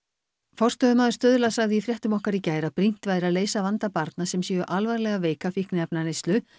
forstöðumaður Stuðla sagði í fréttum okkar í gær að brýnt væri að leysa vanda barna sem séu alvarlega veik af fíkniefnaneyslu